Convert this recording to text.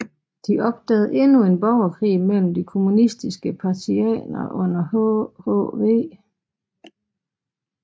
De opdagede endnu en borgerkrig mellem de kommunistiske partisaner under hhv